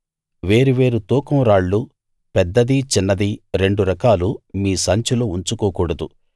వేరు వేరు తూకం రాళ్లు పెద్దదీ చిన్నదీ రెండు రకాలు మీ సంచిలో ఉంచుకోకూడదు